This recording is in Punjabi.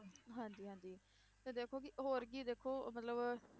ਹਾਂਜੀ ਹਾਂਜੀ ਤੇ ਦੇਖੋ ਕਿ ਹੋਰ ਕੀ ਦੇਖੋ ਮਤਲਬ